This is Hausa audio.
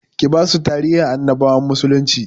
Ki basu tarihin annabawan musulnci